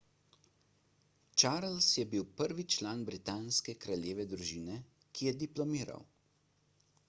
charles je bil prvi član britanske kraljeve družine ki je diplomiral